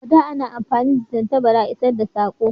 A da a na amfani da tattabara isar da sako